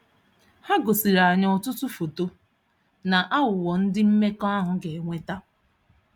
Ha gosiri anyị ọtụtụ foto na aghụghọ ndị mmekọahụ ga-eweta.